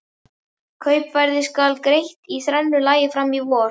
Kaupverðið skal greitt í þrennu lagi fram á vor.